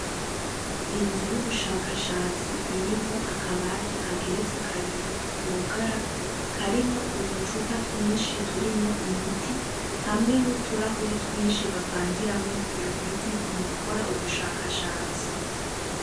Inzu y'ubushakashatsi irimwo akabati kageretse kabiri kugara karimwo uducupa twishi turimwo imiti hamwe n'uturahuri twishi bavangiramwo iyo miti mu gukora ubushakashatsi.